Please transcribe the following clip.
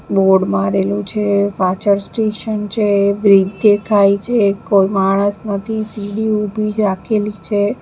Board મારેલું છે પાછળ સ્ટેશન છે. બ્રિજ દેખાય છે કોઈ માણસ નથી સીડી ઉભી રાખેલી છે.